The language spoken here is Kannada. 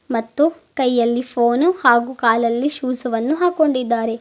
ಮತ್ತು ಕೈಯಲ್ಲಿ ಫೋನ್ ಹಾಗು ಕಾಲಲ್ಲಿ ಶೂಸ್ ವನ್ನು ಹಾಕೊಂಡಿದ್ದಾರೆ.